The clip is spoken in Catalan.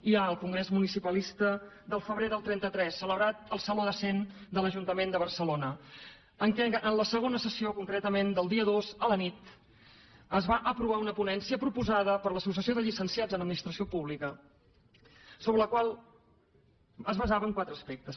hi ha el congrés municipalista del febrer del trenta tres celebrat al saló de cent de l’ajuntament de barcelona en què en la segona sessió concretament del dia dos a la nit es va aprovar una ponència proposada per l’associació de llicenciats en administració pública la qual es basava en quatre aspectes